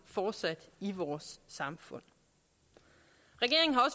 fortsat i vores samfund regeringen har